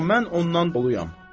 Amma mən ondan doluyam.